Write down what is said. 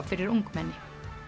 fyrir ungmenni